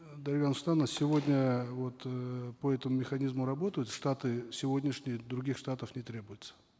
э дарига нурсултановна сегодня вот э по этому механизму работают штаты сегодняшние других штатов не требуется